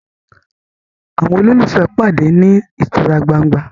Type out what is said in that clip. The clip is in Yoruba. àwọn ololufee pàdé ní ìtura gbángba